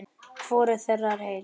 Hvorug þeirra er heil.